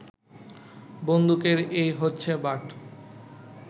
বন্দুকের এই হচ্ছে বাঁট